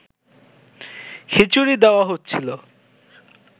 খিচুড়ি দেওয়া হচ্ছিল